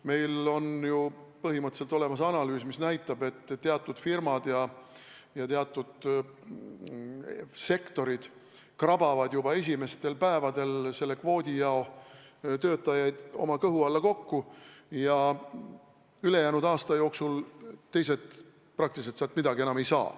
Meil on ju põhimõtteliselt tehtud analüüs, mis näitab, et teatud firmad ja teatud sektorid krabavad juba esimestel päevadel selle kvoodi jao töötajaid oma kõhu alla kokku ja ülejäänud aasta jooksul teised praktiliselt sealt midagi enam ei saa.